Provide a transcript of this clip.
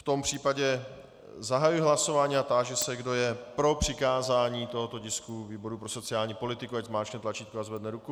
V tom případě zahajuji hlasování a táži se, kdo je pro přikázání tohoto tisku výboru pro sociální politiku, ať zmáčkne tlačítko a zvedne ruku.